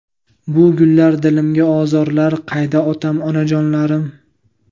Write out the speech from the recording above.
Bu gullar dilimga ozorlar, Qayda otam, onajonlarim.